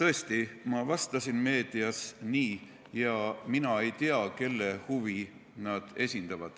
tõesti, ma vastasin meedias nii, ja mina ei tea, kelle huve nad esindavad.